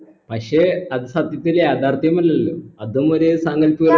പക്ഷെ അത് സത്യത്തിൽ യാഥാർഥ്യമല്ലല്ലോ അതും ഒരു സാങ്കൽപ്പിക